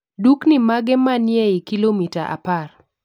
Dukni mage manie eiy kilomita apar?